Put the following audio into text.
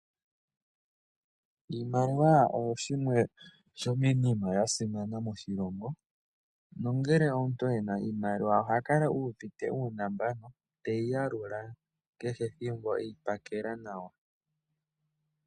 Iimaliwa oyo shimwe shomiinima ya simana moshilongo. No ngele omuntu ena iimaliwa oha kala uuvite uunambano, teyi yalula kehe ethimbo e yi pakela nawa.